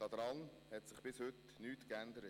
Daran hat sich bis heute nichts geändert.